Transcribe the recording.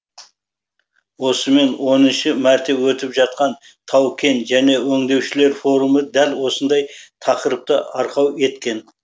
осымен оныншы мәрте өтіп жатқан тау кен және өңдеушілер форумы дәл осындай тақырыпты арқау еткен